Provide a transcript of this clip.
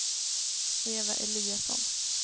Eva Eliasson